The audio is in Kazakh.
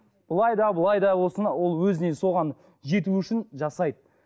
былай да былай да болсын ол өзіне соған жетуі үшін жасайды